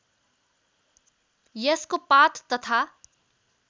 यसको पात तथा